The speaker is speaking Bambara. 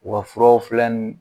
U ka furaw filɛ